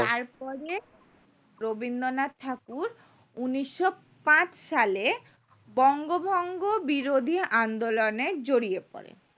পরে রবীন্দ্রনাথ ঠাকুর উন্নিশো পাঁচ সালে বংগভঙ্গ বিরোধী আন্দোলনে জড়িয়ে পড়েন